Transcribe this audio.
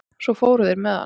Svo fóru þeir með hann.